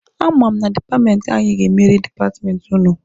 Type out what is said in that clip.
A ma m na dipatmenti anyị ga-emeri dipatmenti ụnụ.